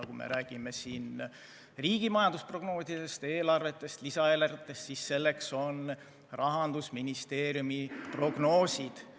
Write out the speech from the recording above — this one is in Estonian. Kui me räägime riigi majandusprognoosidest seoses eelarvete ja lisaeelarvetega, siis need on Rahandusministeeriumi prognoosid.